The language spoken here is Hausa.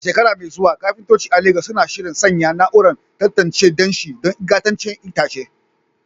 A shekara mai zuwa, kafintoci a Legas suna shirin sanya na'urar tantance danshi don ingantaccen itace.